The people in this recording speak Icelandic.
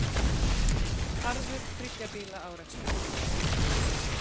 Harður þriggja bíla árekstur